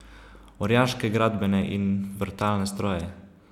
Orjaške gradbene in vrtalne stroje.